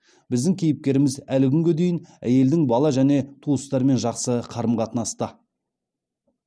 біздің кейіпкеріміз әлі күнге дейін әйелдің бала және туыстарымен жақсы қарым қатынаста